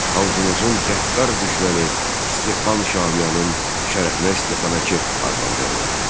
Xalqımızın qəddar düşməni Stepan Şamiyanın şərəfinə Stepanakert adlandırdılar.